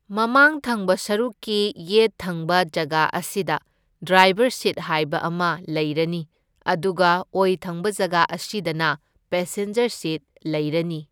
ꯃꯃꯥꯡ ꯊꯪꯕ ꯁꯔꯨꯛꯀꯤ ꯌꯦꯠ ꯊꯪꯕ ꯖꯒꯥ ꯑꯁꯤꯗ ꯗ꯭ꯔꯥꯏꯕꯔ ꯁꯤꯠ ꯍꯥꯏꯕ ꯑꯃ ꯂꯩꯔꯅꯤ, ꯑꯗꯨꯒ ꯑꯣꯏ ꯊꯪꯕ ꯖꯒꯥ ꯑꯁꯤꯗꯅ ꯄꯦꯁꯦꯟꯖꯔ ꯁꯤꯠ ꯂꯩꯔꯅꯤ꯫